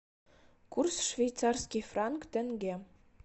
курс швейцарский франк тенге